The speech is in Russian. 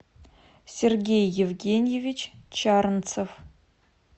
сергей евгеньевич чарнцев